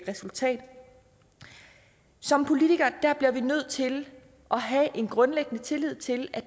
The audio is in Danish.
resultat som politikere bliver vi nødt til at have en grundlæggende tillid til at